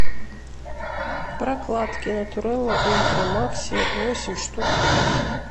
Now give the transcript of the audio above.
прокладки натурела ультра макси восемь штук